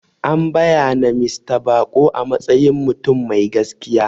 An bayyana Mista Bako a matsayin mutum mai gaskiya.